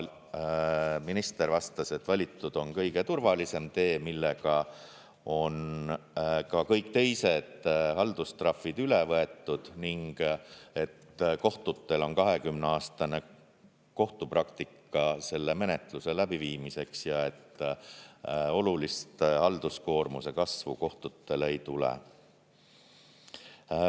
Minister vastas, et valitud on kõige turvalisem tee, millega on ka kõik teised haldustrahvid üle võetud, kohtutel on 20-aastane kohtupraktika selle menetluse läbiviimiseks ja olulist halduskoormuse kasvu kohtutele ei tule.